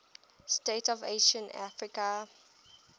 states of ancient africa